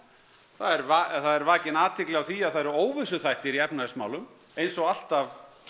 það er vakin athygli á því að það eru óvissuþættir í efnahagsmálum eins og alltaf